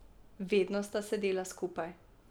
Vedno sta sedela skupaj.